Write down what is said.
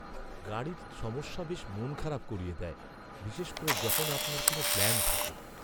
গাড়ির সমস্যা বেশ মন খারাপ করিয়ে দেয়, বিশেষ করে যখন আপনার কোনও প্ল্যান থাকে।